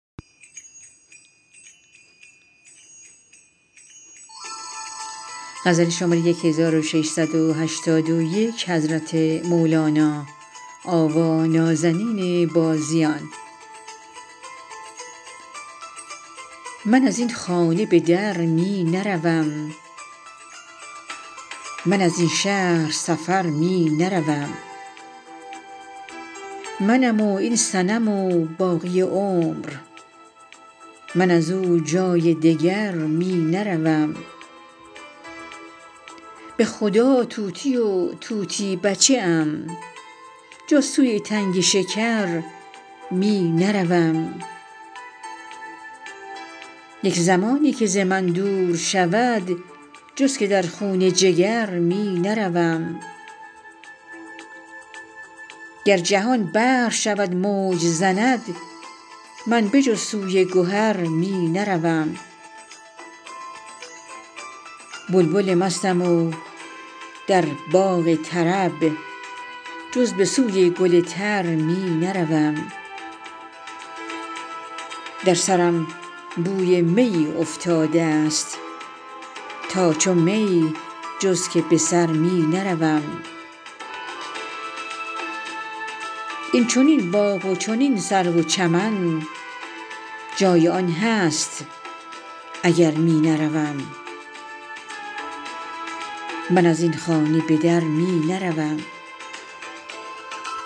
من از این خانه به در می نروم من از این شهر سفر می نروم منم و این صنم و باقی عمر من از او جای دگر می نروم به خدا طوطی و طوطی بچه ام جز سوی تنگ شکر می نروم یک زمانی که ز من دور شود جز که در خون جگر می نروم گر جهان بحر شود موج زند من به جز سوی گهر می نروم بلبل مستم و در باغ طرب جز به سوی گل تر می نروم در سرم بوی میی افتاده ست تا چو می جز که به سر می نروم این چنین باغ و چنین سرو و چمن جای آن هست اگر می نروم